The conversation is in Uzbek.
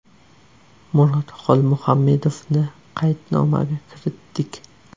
Murod Xolmuhammedovni qaydnomaga kiritdik.